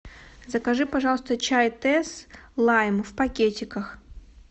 закажи пожалуйста чай тесс лайм в пакетиках